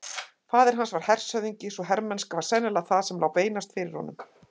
Faðir hans var hershöfðingi svo hermennska var sennilega það sem lá beinast fyrir honum.